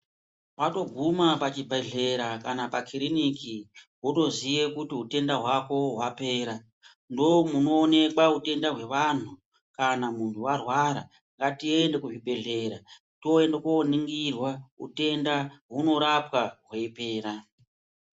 Watoguma pachibhedhlera kana pakiriniki wotoziva kuti hutenda hwako hwapera ndomunoonekwa hutenda hwevanhu kana muntu warwara tiende kuzvibhedhlera toenda koningirwa hutenda inorapwa uchipera.